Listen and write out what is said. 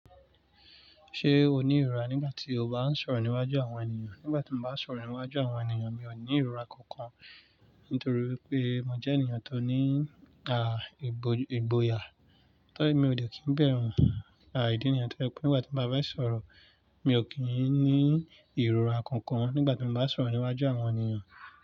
Ṣé o ní ìrora nígbà tí o bá ń sọ̀rọ̀ níwájú àwọn ènìyàn? Nígbà tí mo bá ń sọ̀rọ̀ níwájú àwọn ènìyàn, mi ò ní ìrora kankan. Nítorí pé mo jẹ́ ènìyàn tó ní, à, ìgbò-- ìgbòyà. Tó ri mi ò de kí ń bẹ̀rù, à, ìdí nìyen tó je wípé nígbà tí n bá fẹ́ sọ̀rọ̀, mi ò kí ń ní ìrora kankan nígbà tí mo bá ń sọ̀rọ̀ níwájú àwọn ènìyàn.